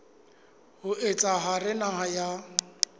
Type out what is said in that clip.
ho etsa hore naha ya